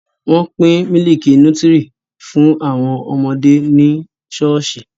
Wọ́n pín mílìkì nútírì fún àwọn ọmọdé ní ṣọ́ọ̀ṣì